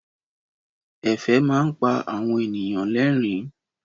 Ẹ̀fẹ̀ máa ń pa àwọn ènìyàn lẹ́rìn-ín.